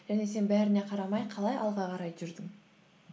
және сен бәріне қарамай қалай алға қарай жүрдің